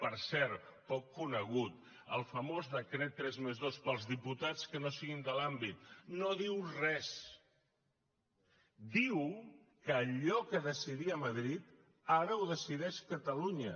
per cert poc conegut el famós decret tres+dos pels diputats que no siguin de l’àmbit no diu res diu que allò que decidia madrid ara ho decideix catalunya